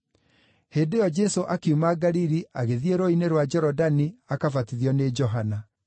Hĩndĩ ĩyo Jesũ akiuma Galili agĩthiĩ Rũũĩ-inĩ rwa Jorodani akabatithio nĩ Johana.